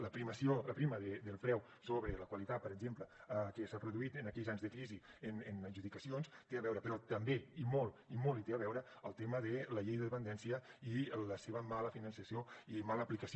la primacia del preu sobre la qualitat per exemple que s’ha produït en aquells anys de crisi en adjudicacions té a veure però també i molt i molt hi té a veure el tema de la llei de dependència i el seu mal finançament i mala aplicació